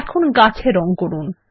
এখন গাছ এ রঙ করুন